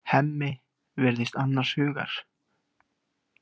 Hemmi virðist annars hugar.